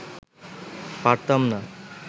পারতাম না